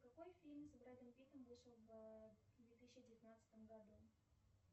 какой фильм с бредом питтом вышел в две тысячи девятнадцатом году